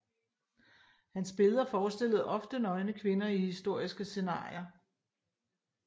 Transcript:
Hans billeder forestillede ofte nøgne kvinder i historiske scenarier